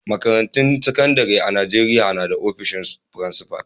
Makarantun sakandare a'Nijeriya na da ofishin frincipa.